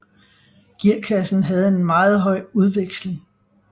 Gearkassen havde en meget høj udveksling